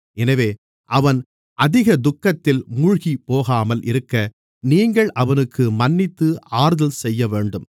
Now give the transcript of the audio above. எனவே அவன் அதிக துக்கத்தில் மூழ்கிப்போகாமல் இருக்க நீங்கள் அவனுக்கு மன்னித்து ஆறுதல் செய்யவேண்டும்